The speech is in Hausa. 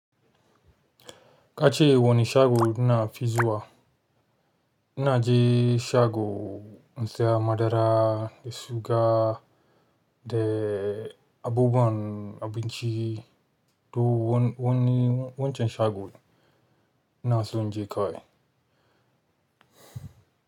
Kace wanne shago nafi zuwa? Inaje shago insiya madara da suga da abubuwan abinci. To wani wancan shago! Inaso inje kawai.